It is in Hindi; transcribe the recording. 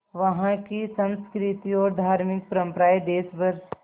वहाँ की संस्कृति और धार्मिक परम्पराएं देश भर